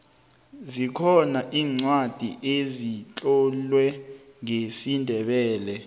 zikhona iincwadi ezitlolwe ngesindebele